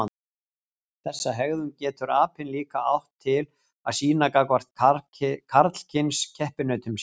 Þessa hegðun getur apinn líka átt til að sýna gagnvart karlkyns keppinautum sínum.